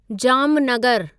जामनगरु